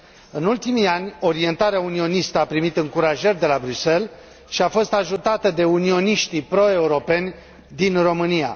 În ultimii ani, orientarea unionistă a primit încurajări de la Bruxelles și a fost ajutată de unioniștii pro europeni din România.